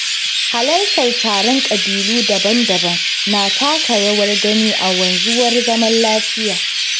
Halartar taron ƙabilu daban-daban na taka rawar gani a wanzuwar zaman lafiya